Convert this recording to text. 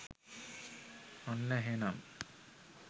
ඔන්න එහෙනම්